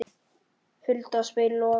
Hulda spyr Loga